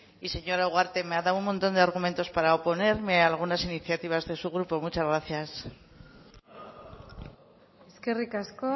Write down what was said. y señora ugarte me ha dado un montón de argumentos para oponerme a algunas iniciativas de su grupo muchas gracias eskerrik asko